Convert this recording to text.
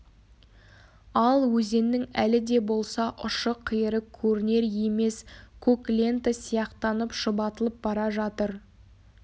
ал өзеннің әлі де болса ұшы-қиыры көрінер емес көк лента сияқтанып шұбатылып бара жатыр